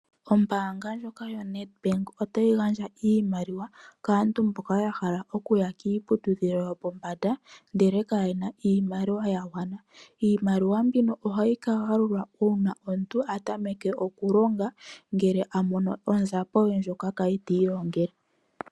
Ombaanga ndjoka yo Nedbank otayi gandja iimaliwa kaantu mboka ya hala okuya kiiputudhilo yopombanda ndele kayena iimaliwa ya gwana. Iimaliwa mbino ohayi ka galulwa uuna omuntu a tameke oku longa ngele a mono onzapo ye ndjokwa kwali ta i longele.